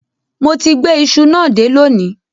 Mo ti gbé iṣu náà dé lónìí